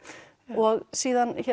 og síðan